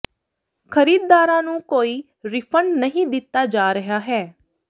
ਖਰੀਦਦਾਰਾਂ ਨੂੰ ਕੋਈ ਰਿਫੰਡ ਨਹੀਂ ਦਿੱਤਾ ਜਾ ਰਿਹਾ ਹੈ